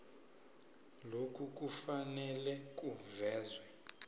lokhu kufanele kuvezwe